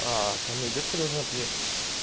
ко мне девка должна приехать